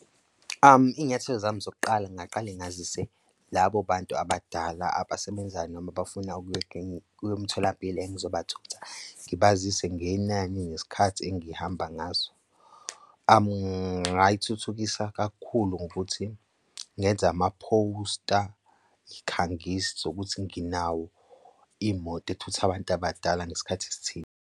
Iy'nyathelo zami zokuqala ngingaqale ngazise labo bantu abadala abasebenzayo noma abafuna kulo mtholampilo engizobathutha ngibazise ngenani ngesikhathi engihamba ngaso. Ngayithuthukisa kakhulu ngokuthi ngenze amaphosta ngikhangisa ukuthi nginawo iy'moto ethutha abantu abadala ngesikhathi esithile.